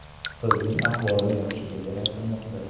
Qizning ahvoli yaxshiligi aytilmoqda.